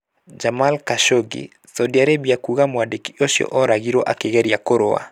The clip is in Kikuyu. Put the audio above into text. Jamal Khashoggi: Saudi Arabia kuga mwandĩki ũcio oragirwo akĩgeria kũrũa.